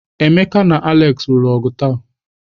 Emeka na Alex lụrụ ọgụ taa.